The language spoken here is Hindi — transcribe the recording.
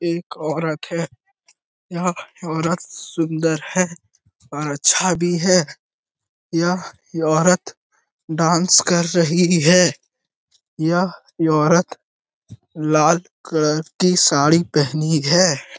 एक औरत है यह औरत सुन्दर है अच्छा भी है यह औरत डांस कर रही है यह औरत लाल कलर की साड़ी पेहनी है।